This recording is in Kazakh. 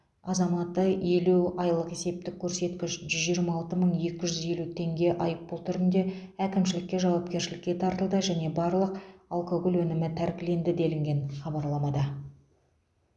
азаматы елу айлық есептік көрсеткіш жүз жиырма алты мың екі жүз елу теңге айыппұл түрінде әкімшілікке жауапкершілікке тартылды және барлық алкоголь өнімі тәркіленді делінген хабарламада